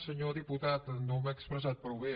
senyor diputat no m’he expressat prou bé